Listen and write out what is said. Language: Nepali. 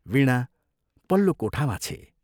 वीणा पल्लो कोठामा छे।